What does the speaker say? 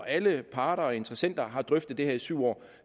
alle parter og interessenter har drøftet det her i syv år